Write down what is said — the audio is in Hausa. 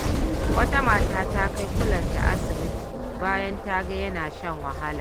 Wata mata ta kai kulenta asibiti bayan ta ga yana shan wahala.